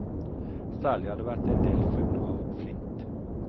Særlig har det vært en del funn av flint.